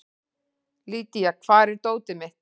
Lydia, hvar er dótið mitt?